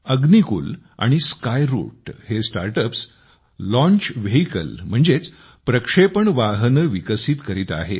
अग्निकुल आणि स्कायरूट हे startups launch vehicle म्हणजेच प्रक्षेपण वाहने विकसित करीत आहेत